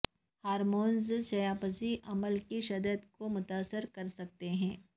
hormones چیاپچی عمل کی شدت کو متاثر کر سکتے ہیں